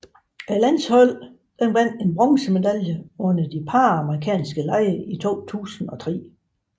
Landsholdet vandt en bronzemedalje under de Panamerikanske lege 2003